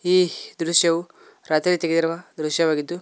ಈ ದೃಶ್ಯವು ರಾತ್ರಿ ತೆಗೆದಿರುವ ದೃಶ್ಯವಾಗಿದ್ದು--